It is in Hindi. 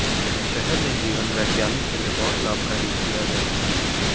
शहर में जीवन वैज्ञानिक के लिए बहुत लाभकारी किया गया है